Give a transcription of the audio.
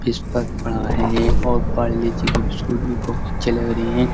Whisper पड़ा है और पारले जी की बिस्कुट भी बहुत अच्छे लग रहे हैं।